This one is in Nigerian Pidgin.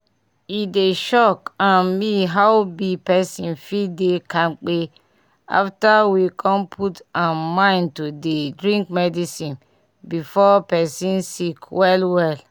e dey shock um me how bi pesin fit dey kampe after we con put um mind to dey drink medicine before pesin sick well well